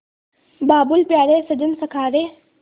बाबुल प्यारे सजन सखा रे